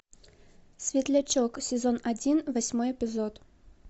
светлячок сезон один восьмой эпизод